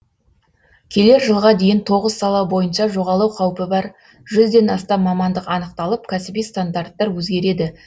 келер жылға дейін тоғыз сала бойынша жоғалу қаупі бар жүзден астам мамандық анықталып кәсіби стандарттар өзгереді